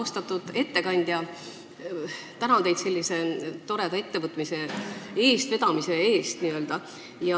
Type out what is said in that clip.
Austatud ettekandja, tänan teid sellise toreda ettevõtmise eestvedamise eest!